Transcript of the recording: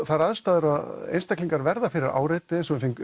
þær aðstæður að einstaklingar verða fyrir áreiti eins og við